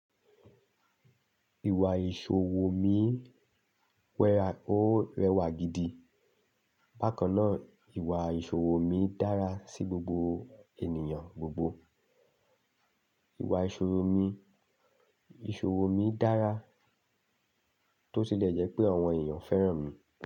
Ìwà ìṣòwò mí wera ó rẹwà gidi, bákan náà ìwà ìṣòwò mí dára sí gbogbo ènìyàn gbogbo. Ìwà ìṣòwò mí, ìṣòwò mí dára tó tilẹ̀ jẹ́ pé àwọn èèyàn fẹ́ràn mi.